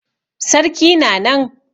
Sarki na nan.